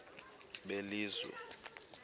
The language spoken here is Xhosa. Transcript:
belizwe